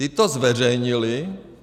Ti to zveřejnili.